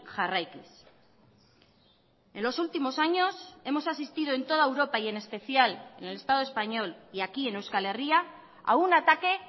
jarraikiz en los últimos años hemos asistido en toda europa y en especial en el estado español y aquí en euskal herria a un ataque